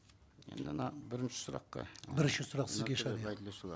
енді ана бірінші сұраққа бірінші сұрақ сізге шығар иә